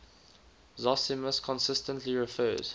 zosimus consistently refers